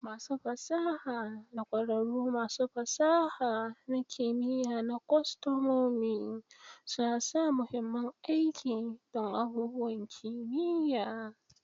Masu fasaha da ƙwararrun masu fasaha na kimiya na kwastomomi suna sa mahimmin aiki don abubuwan kimiyya.